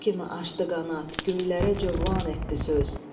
Quş kimi açdı qanad, göylərə cövlan etdi söz.